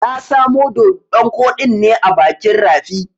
Na samo doɗon koɗin ne a bakin rafi.